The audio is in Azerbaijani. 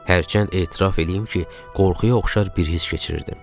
Hərçənd etiraf eləyim ki, qorxuya oxşar bir hiss keçirirdim.